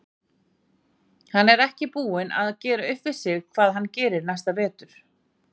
Hann er ekki enn búinn að gera upp við sig hvað hann gerir næsta vetur.